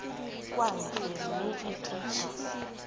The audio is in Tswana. kwa ntle mme e tliswa